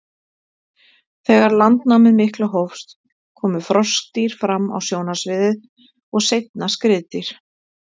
Þegar landnámið mikla hófst komu froskdýr fram á sjónarsviðið og seinna skriðdýr.